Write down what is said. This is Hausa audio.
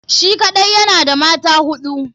Shi kaɗai yana da mata hudu.